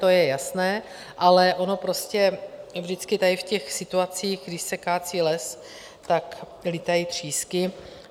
To je jasné, ale ono prostě vždycky v tady těch situacích, když se kácí les, tak lítají třísky.